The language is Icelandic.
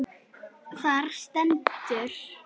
Þar stendur: